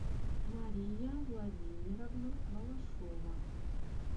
мария владимировна балашова